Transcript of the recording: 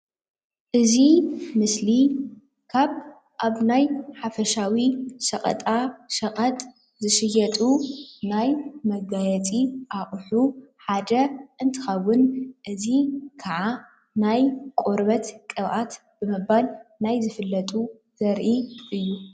እዚ ምስሊ ካብ ኣብ ናይ ሓፈሻዊ ሽቐጣ ሽቐጥ ዝሽየጡ ናይ መጋየፂ ኣቁሑ ሓደ እንትኽውን እዚ ከዓ ናይ ቆርበት ቅብአት ብምባል ናይ ዝፍለጡ ዘርኢ እዩ።